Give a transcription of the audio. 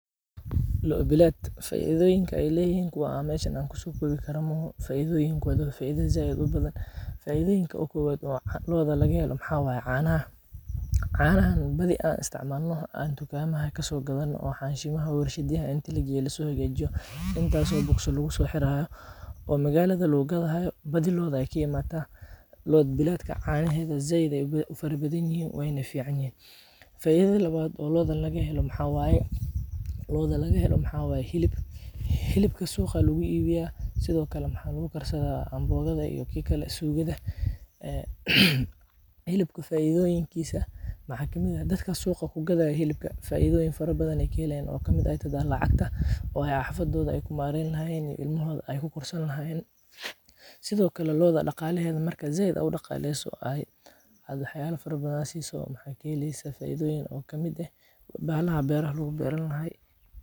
Loo bilaad, faidoyinka aay leyixin , kuwaa aan meshan an kusokowikaro maoxo, faidoyinkoda wa kuwa badan, faidoyinka oo kowad oo looda lagahelo waxa waye caanaxa, caanaxan badii an isticmalno aan tukama kasogadano, oo xanshimaxa warshad yaxa in lagasohagajiyo, intas oo box laxirayo, oo maqalada lagugadayo, badhii looday kaimataa, loo biladka canaxeda zaid ay ufarabadanyixiin, wayna ficanyixin, faidada lawad oo looda lagahelo maxawaye oo looda lagahelo maxa waye, xilib, xilibka suqaa laguibiyaa , Sidhokale waxa lagudarsadha ambogada iyo kikale suqadaa, ee xilubka faidoyinkisa waxa. kamid ah, dadka suqaa kugadayo xilibka faidoyin farabadan ay kaxelan taaso kamid taxay, lacagta oo ay hafadodha ay kumareyn laxayen, ilmaxoda aay kukorsani laxayen, Sidhokale looda dagalexedaha marka zaid aad udagaleyso ee waxyala farabadn aad siso, waxa kaxeleysa faidoyin oo kamid ah, baxala berah laguberan laxay.